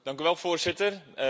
Dank u wel, voorzitter.